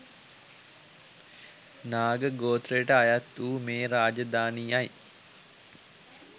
නාග ගෝත්‍රයට අයත් වූ මේ රාජධානියයි